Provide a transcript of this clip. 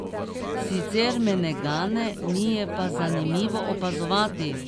Sicer me ne gane, mi je pa zanimivo opazovati.